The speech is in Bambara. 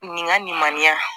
Nin ka nin man ɲi yan